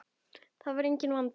Það er enginn vandi.